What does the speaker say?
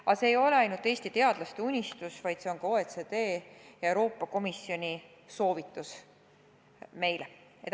Aga see ei ole ainult Eesti teadlaste unistus, see on ka OECD ja Euroopa Komisjoni soovitus meile.